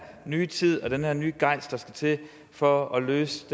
nye tid og den her nye gejst der skal til for at løse